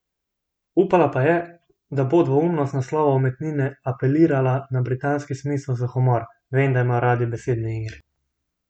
Upala pa je, da bo dvoumnost naslova umetnine apelirala na britanski smisel za humor: 'Vem, da imajo radi besedne igre'.